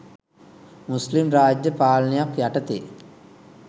මුස්ලිම් රාජ්‍ය පාලනයක් යටතේ